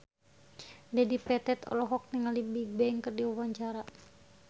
Dedi Petet olohok ningali Bigbang keur diwawancara